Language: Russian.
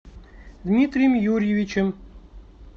дмитрием юрьевичем